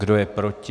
Kdo je proti?